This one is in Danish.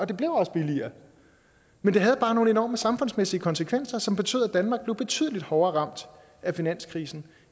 det blev også billigere men det havde bare nogle enorme samfundsmæssige konsekvenser som betød at danmark blev betydelig hårdere ramt af finanskrisen